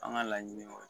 An ka laɲini o